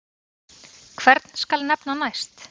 Hvern skal nefna næst?